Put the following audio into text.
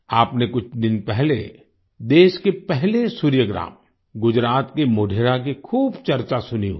आपने कुछ दिन पहले देश के पहले सूर्य ग्राम गुजरात के मोढेरा की खूब चर्चा सुनी होगी